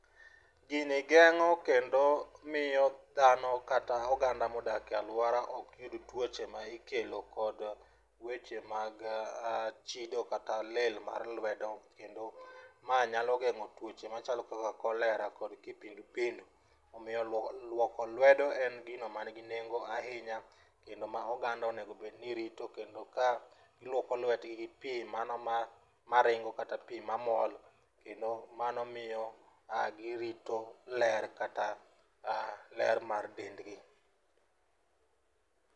Gini geng'o kendo miyo dhano kata oganda modak e luora ok yud tuoche mikelo kod weche mag chido kata lil mar lwedo kendo manyalo geng'o tucohe machalo kaka cholera kod kipindupindu. Omiyo luoko luoko lwedo en gino manigi nego ahinya kendo ma oganda onego bed ni rito kendo ka iluoko lwetgi gi pii mano maringo kata pii mamol kendo mano miyo a girito ler kata ler mar dendgi.